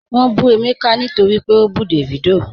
Wọ́n bù Emeka nítorí pé ó bú Davido